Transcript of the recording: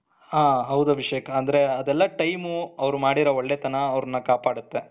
ಹ ಹೌದು ಅಭಿಷೇಕ್ ಆದ್ರೆ ಅದೆಲ್ಲ time ಅವ್ರ್ ಮಾಡಿರೋ ಒಳ್ಳೆತನ ಅವ್ರ್ನ ಕಾಪಾಡುತ್ತೆ.